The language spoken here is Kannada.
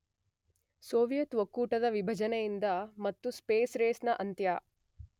ಸೋವಿಯತ್ ಒಕ್ಕೂಟದ ವಿಭಜನೆಯಿಂದ ಮತ್ತು ಸ್ಪೇಸ್ ರೇಸ್ ನ ಅಂತ್ಯ